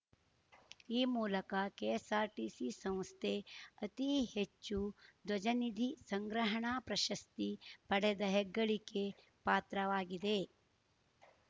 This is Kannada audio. ಈ ಮೂಲಕ ಕೆಎಸ್‌ಆರ್‌ಟಿಸಿ ಸಂಸ್ಥೆ ಅತಿ ಹೆಚ್ಚು ಧ್ವಜನಿಧಿ ಸಂಗ್ರಹಣಾ ಪ್ರಶಸ್ತಿ ಪಡೆದ ಹೆಗ್ಗಳಿಕೆ ಪಾತ್ರವಾಗಿದೆ